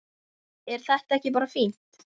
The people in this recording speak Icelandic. Er þetta ekki bara fínt?